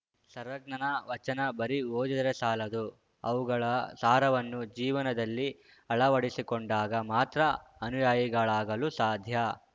ಸರ್ವಜ್ಞನ ವಚನ ಬರೀ ಓದಿದರೆ ಸಾಲದು ಅವುಗಳ ಸಾರವನ್ನು ಜೀವನದಲ್ಲಿ ಅಳವಡಿಸಿಕೊಂಡಾಗ ಮಾತ್ರ ಅನುಯಾಯಿಗಳಾಗಲು ಸಾಧ್ಯ